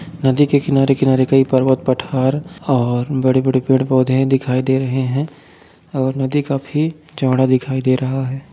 नदी के किनारे किनारे कई पर्वत पठार और बड़े-बड़े पेड़ पौधे दिखाई दे रहे हैं और नदी काफी चौड़ा दिखाई दे रहा है।